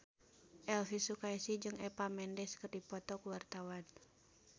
Elvy Sukaesih jeung Eva Mendes keur dipoto ku wartawan